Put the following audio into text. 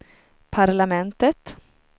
parlamentet